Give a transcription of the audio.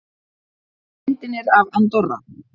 Myndin er af Andorra.